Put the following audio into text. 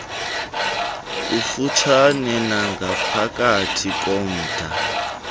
kufutshane nangaphakathi komda